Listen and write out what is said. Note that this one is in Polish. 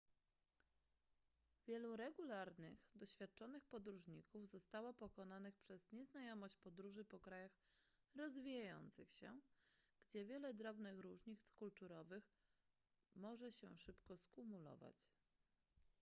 wielu regularnych doświadczonych podróżników zostało pokonanych przez nieznajomość podróży po krajach rozwijających się gdzie wiele drobnych różnic kulturowych może się szybko skumulować